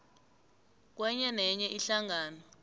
kwenye nenye ihlangano